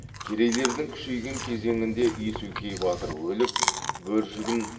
керейлердің күшейген кезеңінде есугей батыр өліп бөржігін